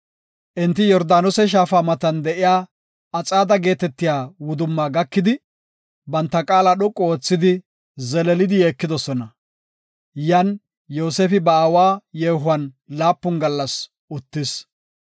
Enti Yordaanose Shaafa matan de7iya Axaade geetetiya wudumma gakidi, banta qaala dhoqu oothidi, zeleelidi yeekidosona. Yan Yoosefi ba aawa yeehuwan laapun gallas uttis.